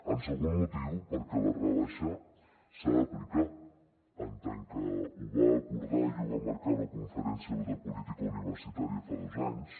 el segon motiu perquè la rebaixa s’ha d’aplicar en tant que ho va acordar i ho va marcar la conferència de política universitària fa dos anys